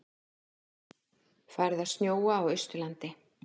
Farið að snjóa á Austurlandi